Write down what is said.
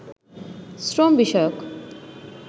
শ্রম বিষয়ক